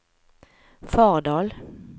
Fardal